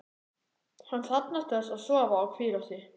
Hann þarfnast þess að sofa og hvíla sig.